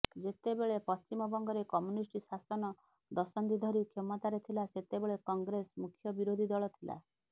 ଯେତେବେଳେ ପଶ୍ଚିମବଙ୍ଗରେ କମ୍ୟୁନିଷ୍ଟ ଶାସନ ଦଶନ୍ଧି ଧରି କ୍ଷମତାରେ ଥିଲା ସେତେବେଳେ କଂଗ୍ରେସ ମୁଖ୍ୟ ବିରୋଧୀ ଦଳ ଥିଲା